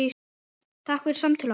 Takk fyrir samtöl okkar.